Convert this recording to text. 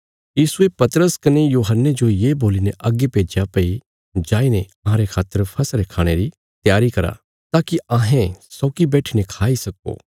यीशुये पतरस कने यूहन्ने जो ये बोलीने अग्गे भेज्या भई जाईने अहांरे खातर फसह रे खाणे री त्यारी करा ताकि अहें सौगी बैठीने खाई सक्को